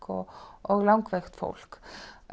og og langveikt fólk